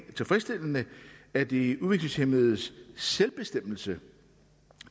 tilfredsstillende at de udviklingshæmmedes selvbestemmelse